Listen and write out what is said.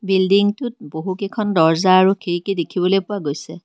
Building টোত বহুকেইখন দৰ্জা আৰু খিৰিকী দেখিবলৈ পোৱা গৈছে।